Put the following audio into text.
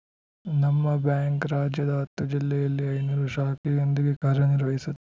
ನಮ್ಮ ಬ್ಯಾಂಕ್‌ ರಾಜ್ಯದ ಹತ್ತು ಜಿಲ್ಲೆಯಲ್ಲಿ ಐದುನೂರು ಶಾಖೆಯೊಂದಿಗೆ ಕಾರ್ಯ ನಿರ್ವಹಿಸು